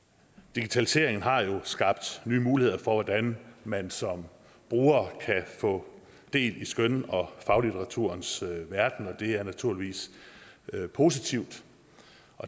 digitaliseringen har skabt nye muligheder for hvordan man som bruger kan få del i skøn og faglitteraturens verden og det er naturligvis positivt